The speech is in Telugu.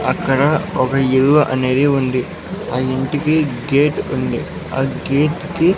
అక్కడ ఒక ఇల్లు అనేది ఉంది. ఆ ఇంటికి గేట్ ఉంది ఆ గేట్ కి --